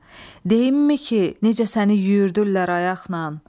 Deyimmi ki, necə səni yüyürtdüllər ayaqnan?